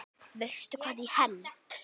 Veistu hvað ég held?